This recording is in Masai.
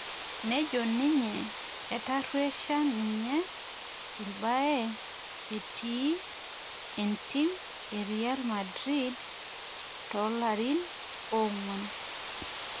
Nejo ninye etaruesha ninye irbae etiii entim e Real Madrid toolarin ong'uan